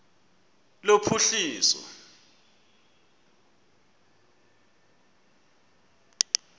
lophuhliso